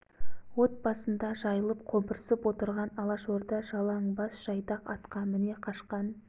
от басында жайылып қобырсып отырған алашорда жалаң бас жайдақ атқа міне қашқан